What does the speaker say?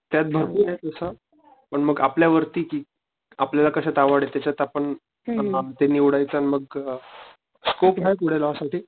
त्यात भरपूरे तस पण मग आपल्या वरती कि, आपल्याला कश्यात आवडत त्याच्यात आपण, अ ते निवडायचं मग ते अ स्कोप आहे पुढे लॉ साठी.